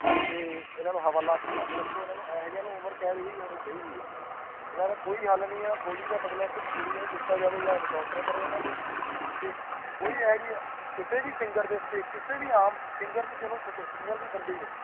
ਤੇ ਇਨ੍ਹਾਂ ਨੂੰ ਹਵਾਲਾਤ ਚ ਬੰਦ ਰੱਖੋ ਇਹੋ ਜਿਆਂ ਨੂੰ ਉਮਰ ਕੈਦ ਹੋਣੀ ਚਾਹੀਦੀ ਹੈ ਇਨ੍ਹਾਂ ਦਾ ਕੋਈ ਹੱਲ ਨਹੀਂ ਹੈ ਗੋਲ਼ੀ ਦਾ ਬਦਲਾ ਸਿਰਫ਼ ਗੋਲੀ ਨਾਲ ਲਿਤਾ ਤਾ ਜਾਵੇਂ ਯਾ ਐਨਕਾਊਂਟਰ ਕਰੋ ਇਨ੍ਹਾਂ ਦੇ ਕੋਈ ਇਹੋ ਜੀਇ ਕਿਸੇ ਵੀ ਸਿੰਗਾਰ ਉਤੇ ਕਿਸੇ ਵੀ ਆਮ ਸਿੰਗਾਰ ਨੂੰ ਛੱਡੋ ਸਿੰਗਾਰ ਵੀ ਬੰਦੇ ਨੇ